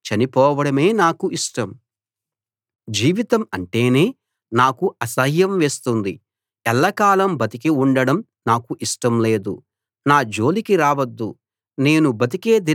జీవితం అంటేనే నాకు అసహ్యం వేస్తుంది ఎల్లకాలం బతికి ఉండడం నాకు ఇష్టం లేదు నా జోలికి రావద్దు నేను బతికే దినాలు ఆవిరిలాగా ఉన్నాయి